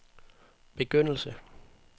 begyndelse